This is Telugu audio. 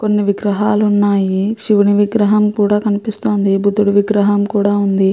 ఇక్కడ ఒక కొట్టు ఉంది. ఆ కొట్టు లో కొన్ని విగ్రహాలు ఉన్నాయి. శివుని విగ్రహం కూడా కనిపిస్తుంది. భుద్దుడి విగ్రహం కూడా ఉంది.